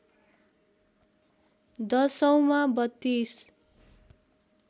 दशौँमा ३२